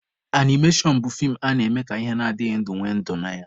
Animashọn bụ fii a na-eme ka ihe adịghị ndụ nwee ndụ na ya.